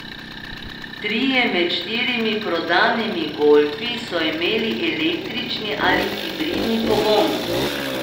Trije med štirimi prodanimi golfi so imeli električni ali hibridni pogon.